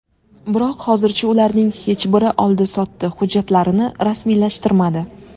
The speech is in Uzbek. Biroq hozircha ularning hech biri oldi-sotdi hujjatlarini rasmiylashtirmadi.